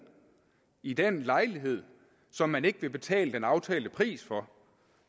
i den lejlighed som man ikke vil betale den aftalte pris for